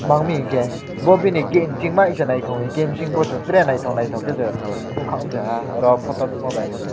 ma ungmi ke bo bini gate singma ishe naitango hingke gate ingsingbi tere naito naitogke se nogka amsaha aro photo nogma baipose.